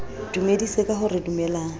dumedise ka ho re dumelang